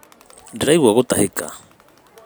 Ndĩraigua gũtahĩka